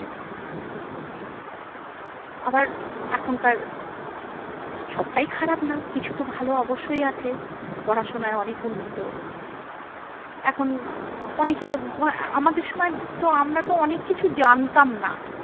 আবার এখনকার সবটাই খারাপ না কিছু তো ভালো অবশ্যই আছে পড়াশোনায় অনেক উন্নত এখন অনেকে আমাদের সময় তো আমরা তো অনেক কিছু জানতাম না।